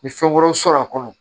Ni fɛn wɛrɛw sɔrɔ a kɔnɔ